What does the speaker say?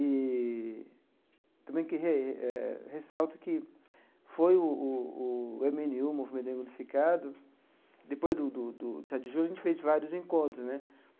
Eee também que re eh ressalto que foi o o o eme ene u, foi o Movimento Negro Unificado, depois do do sete de julho, a gente fez vários encontros né.